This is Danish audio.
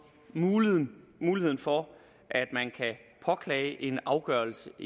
muligheden muligheden for at man kan påklage en afgørelse